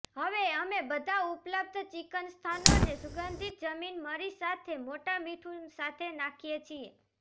હવે અમે બધા ઉપલબ્ધ ચિકન સ્થાનોને સુગંધિત જમીન મરી સાથે મોટા મીઠું સાથે નાખીએ છીએ